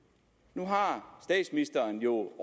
nu har statsministeren jo